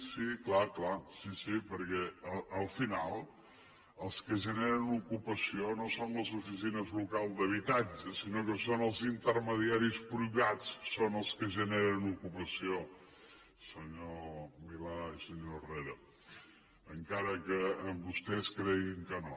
sí perquè al final els que generen ocupació no són les oficines locals d’habitatges sinó que són els intermediaris privats els que generen ocupació senyor milà i senyor herrera encara que vostès creguin que no